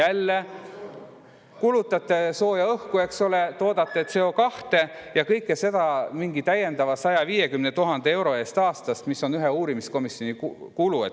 Jälle kulutate sooja õhku, eks ole, toodate CO2, ja kõike seda täiendava 150 000 euro eest aastas, mis on ühe uurimiskomisjoni kulu.